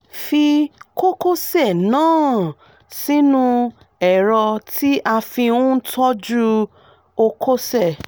fi kókósẹ̀ náà sínú ẹ̀rọ tí à fi ń tọọ́jú ókósẹ̀